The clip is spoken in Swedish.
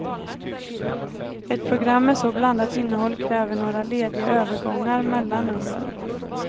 Ett program med så blandat innehåll kräver några lediga övergångar mellan numren.